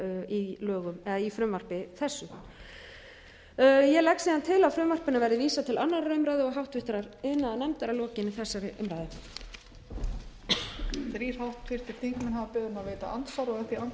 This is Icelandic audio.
í lögum eða í frumvarpi þessu ég legg síðan til að frumvarpinu verði vísað til annarrar umræðu og háttvirtur iðnaðarnefndar að lokinni þessari umræðu